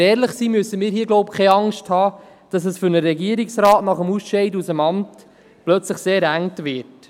Wenn wir ehrlich sind, brauchen wir, so glaube ich, keine Angst zu haben, dass es für einen Regierungsrat nach dem Ausscheiden aus dem Amt plötzlich sehr eng wird.